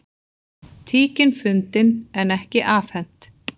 Tíkin fundin en ekki afhent